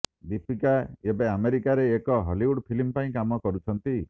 ଦୀପିକା ଏବେ ଆମେରିକାରେ ଏକ ହଲିଉଡ୍ ଫିଲ୍ମ ପାଇଁ କାମ କରୁଛନ୍ତି